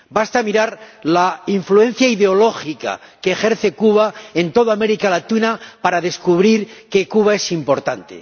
Basta mirar la influencia ideológica que ejerce Cuba en toda América Latina para descubrir que Cuba es importante.